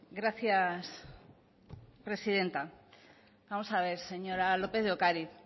gracias presidenta vamos a ver señora lópez de ocariz